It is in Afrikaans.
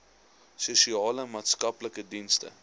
sosiale maatskaplike dienste